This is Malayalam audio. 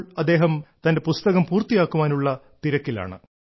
ഇപ്പോൾ അദ്ദേഹം തന്റെ പുസ്തകം പൂർത്തിയാക്കാനുള്ള തിരക്കിലാണ്